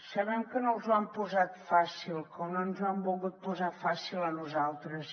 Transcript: sabem que no els ho han posat fàcil com no ens ho han volgut posar fàcil a nosaltres